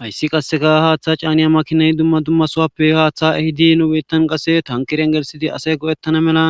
Hayssi qasseka haaththa caaniya makinay dumma dumma sowappe haaththa ehidi nubittan qasse tankirengelsidi asay go'ettana mela